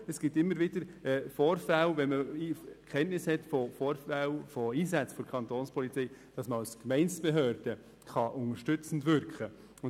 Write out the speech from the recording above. Es gibt aber immer wieder Vorfälle, bei denen man als Gemeindebehörde unterstützend wirken kann, wenn man Kenntnis von Einsätzen der Kapo hat.